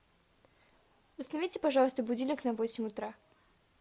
установите пожалуйста будильник на восемь утра